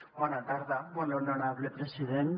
bona tarda molt honorable president